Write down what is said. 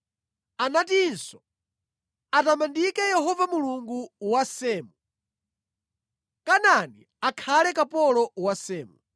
Anatinso, “Atamandike Yehova, Mulungu wa Semu! Kanaani akhale kapolo wa Semu.